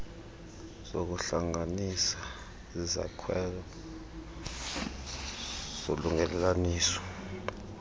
zokuhlanganisa zisisakhelo solungelelwaniso